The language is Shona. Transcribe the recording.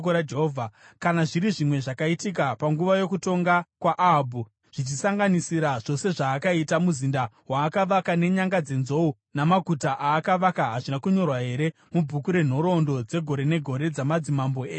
Kana zviri zvimwe zvakaitika panguva yokutonga kwaAhabhu, zvichisanganisira zvose zvaakaita, muzinda waakavaka nenyanga dzenzou, namaguta aakavaka, hazvina kunyorwa here mubhuku renhoroondo dzegore negore dzamadzimambo eIsraeri?